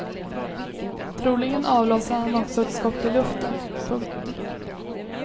Troligen avlossade han också ett skott i luften. punkt